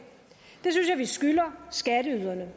det skylder skatteyderne